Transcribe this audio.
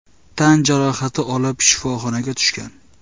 tan jarohati olib shifoxonaga tushgan.